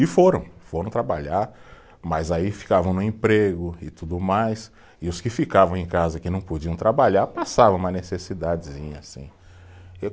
E foram, foram trabalhar, mas aí ficavam no emprego e tudo mais, e os que ficavam em casa, que não podiam trabalhar, passava uma necessidadezinha, sim.